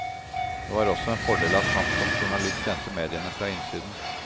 Det var også en fordel at han som journalist kjente mediene fra innsiden.